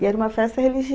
E era uma festa